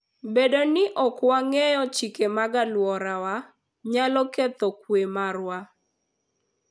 Bedo ni ok wang'eyo chike mag alworawa, nyalo ketho kuwe marwa.